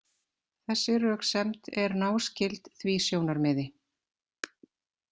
Þessi röksemd er náskyld því sjónarmiði.